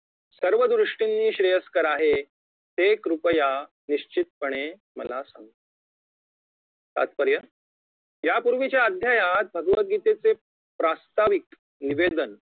सर्व दृष्टीने श्रेयस्कर आहे ते कृपया निश्चितपणे मला सांगा तात्पर्य यापूर्वीच्या अध्यायात भगवतगीतेचे प्रात्साविक निवेदन